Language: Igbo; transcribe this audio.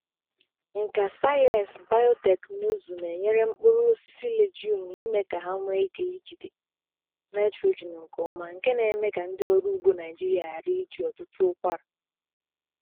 Nka sayensị biotekịnụzụ na-enyere mkpụrụ osisi legume ime ka ha nwee ike ijide nitrogen nke ọma, nke na-eme ka ndị ọrụ ugbo Naịjirịa ghara iji ọtụtụ ụkwara.